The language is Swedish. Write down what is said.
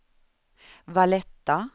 Valletta